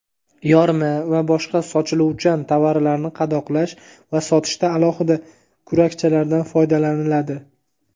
yorma va boshqa sochiluvchan tovarlarni qadoqlash va sotishda alohida kurakchalardan foydalaniladi.